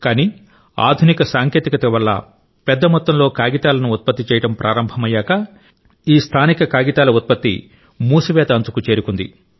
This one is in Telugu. కానీ ఆధునిక సాంకేతికత వల్ల పెద్ద మొత్తంలో కాగితాలను ఉత్పత్తి చేయడం ప్రారంభమయ్యాక ఈ స్థానిక కాగితాల ఉత్పత్తి మూసివేత అంచుకు చేరుకుంది